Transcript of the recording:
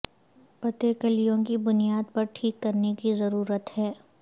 پتے کلیوں کی بنیاد پر ٹھیک کرنے کی ضرورت ہے